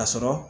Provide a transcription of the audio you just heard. A sɔrɔ